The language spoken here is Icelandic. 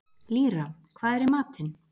Lýra, hvað er í matinn?